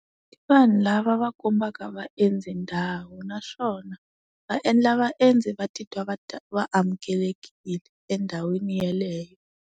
Vanhu lava va kombaka vaendzi ndhawu naswona, va endla vaendzi va titwa va va amukelekile endhawini yeleyo.